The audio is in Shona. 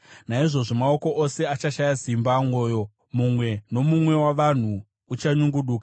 Naizvozvo maoko ose achashaya simba, mwoyo mumwe nomumwe wavanhu uchanyungudika.